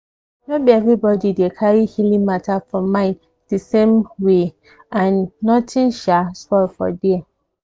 ehnno be everybody dey carry healing matter for mind the same um way and nothing um spoil for there.